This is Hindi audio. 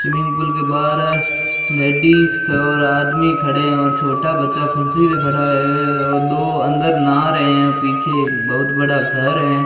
स्विमिंग पूल के बाहर लेडिस और आदमी खड़े हैं और छोटा बच्चा कुर्सी पे खड़ा है और दो अन्दर नहा रे है। पीछे एक बहुत बड़ा घर है।